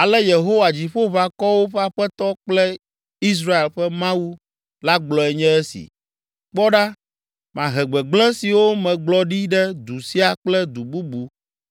“Ale Yehowa, Dziƒoʋakɔwo ƒe Aƒetɔ kple Israel ƒe Mawu la gblɔe nye esi: ‘Kpɔ ɖa, mahe gbegblẽ siwo megblɔ ɖi ɖe du sia kple du bubu